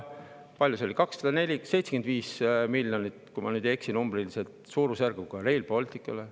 – suurusjärgus 275 miljonit, kui ma nüüd ei eksi numbriliselt, Rail Balticule.